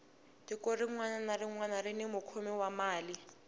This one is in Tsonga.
tiko rinwani na rinwani rini mukhomi wa mali